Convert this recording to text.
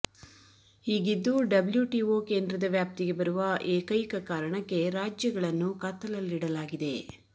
ಹೀಗಿದ್ದೂ WTO ಕೇಂದ್ರದ ವ್ಯಾಪ್ತಿಗೆ ಬರುವ ಏಕೈಕ ಕಾರಣಕ್ಕೆ ರಾಜ್ಯಗಳನ್ನು ಕತ್ತಲಲ್ಲಿಡಲಾಗಿದೆ